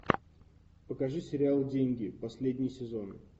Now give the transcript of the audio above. покажи сериал деньги последний сезон